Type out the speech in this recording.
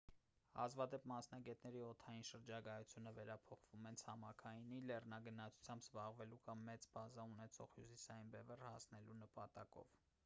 հազվադեպ մասնագետների օդային շրջագայությունները վերափոխվում են ցամաքայինի լեռնագնացությամբ զբաղվելու կամ մեծ բազա ունեցող հյուսիսային բևեռ հասնելու նպատակով